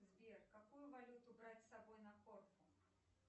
сбер какую валюту брать с собой на корфу